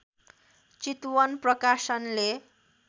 चितवन प्रकाशनले